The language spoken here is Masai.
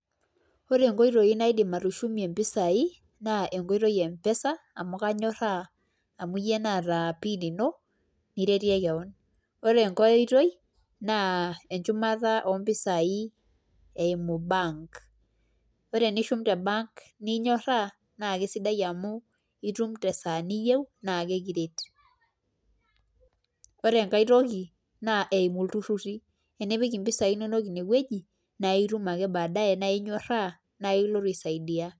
Ore nkoitoi naidim atushukie mpisai na enkoitoi empesa amu kanyoraa ore enkoitoi na enchumata ompisai eimu bank ore pishum te bank nakesidai amu itum tesaaa niyieu na ekiret ore enkae toki na eimu ltururi nipik mpisai inonok inewueji naitum ake baadaye na inyoraa pekilotu aisaidia